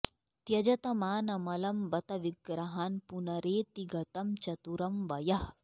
त्यजत मानमलं बत विग्रहान् पुनरेति गतं चतुरं वयः